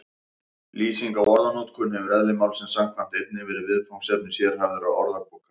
Lýsing á orðanotkun hefur eðli málsins samkvæmt einnig verið viðfangsefni sérhæfðra orðabóka.